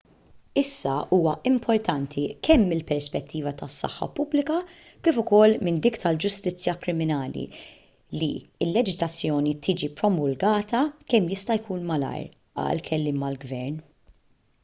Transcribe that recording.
issa huwa importanti kemm mill-perspettiva tas-saħħa pubblika kif ukoll minn dik tal-ġustizzja kriminali li l-leġiżlazzjoni tiġi promulgata kemm jista' jkun malajr qal kelliem għall-gvern